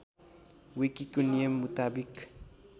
विकीको नियम मुताबिक